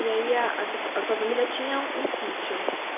E aí a sua família tinha um sítio?